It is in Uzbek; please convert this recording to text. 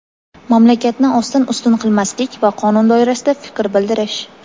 mamlakatni ostin-ustun qilmaslik va qonun doirasida fikr bildirish.